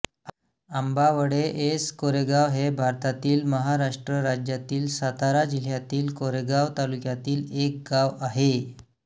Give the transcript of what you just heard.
Ambavade S Koregaon हे भारतातील महाराष्ट्र राज्यातील सातारा जिल्ह्यातील कोरेगाव तालुक्यातील एक गाव आहे